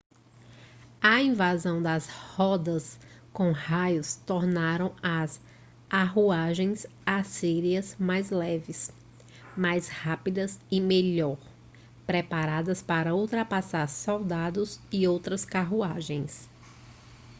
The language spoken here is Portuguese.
a invenção das rodas com raios tornaram as carruagens assírias mais leves mais rápidas e melhor preparadas para ultrapassar soldados e outras carruagens